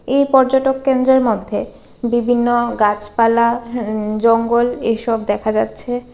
এ পর্যটক কেন্দ্রের মধ্যে বিভিন্ন গাছপালা জঙ্গল এসব দেখা যাচ্ছে।